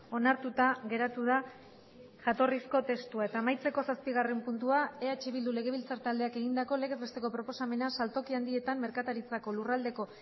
onartuta geratu da jatorrizko testua eta amaitzeko zazpigarren puntua eh bildu legebiltzar taldeak egindako legez besteko proposamena saltoki handietan merkataritzako lurraldeko